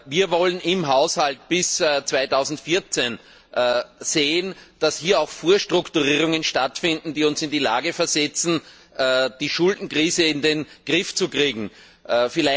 Wir wollen im Haushalt bis 2014 sehen, dass hier auch Vorstrukturierungen stattfinden, die uns in die Lage versetzen, die Schuldenkrise in den Griff zu bekommen.